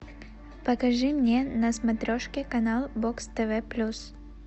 покажи мне на смотрешке канал бокс тв плюс